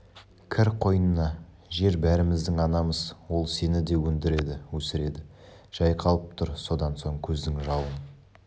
кір қойнына жер бәріміздің анамыз ол сені де өндіреді өсіреді жайқалып тұр содан соң көздің жауын